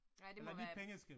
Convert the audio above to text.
Nej, det må være et